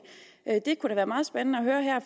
det kunne da være meget spændende at høre her